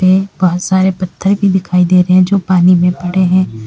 बहुत सारे पत्थर भी दिखाई दे रहे हैं जो पानी में पड़े हैं।